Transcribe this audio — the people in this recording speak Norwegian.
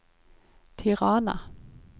Tirana